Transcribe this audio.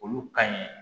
Olu ka ɲi